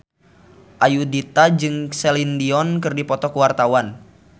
Ayudhita jeung Celine Dion keur dipoto ku wartawan